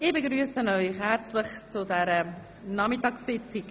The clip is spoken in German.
Ich begrüsse Sie herzlich zu dieser Nachmittagssitzung.